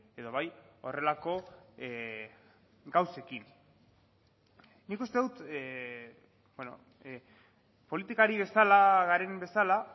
edo bai horrelako gauzekin nik uste dut politikari bezala garen bezala